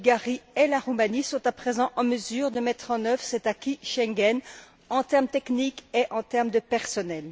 La Bulgarie et la Roumanie sont à présent en mesure de mettre en œuvre cet acquis Schengen en termes techniques et en termes de personnel.